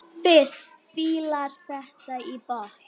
Fis fílar þetta í botn!